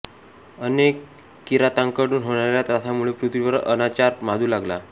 अनेक किरातांकडून होणाऱ्या त्रासामुळे पृथ्वीवर अनाचार माजू लागला